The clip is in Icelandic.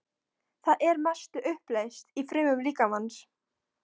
Það er að mestu uppleyst í frumum líkamans.